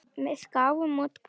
Við gáfum út bók.